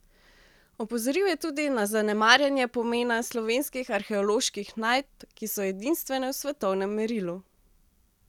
Opozoril je tudi na zanemarjanje pomena slovenskih arheoloških najdb, ki so edinstvene v svetovnem merilu.